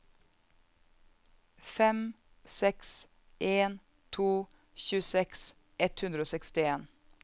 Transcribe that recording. fem seks en to tjueseks ett hundre og sekstien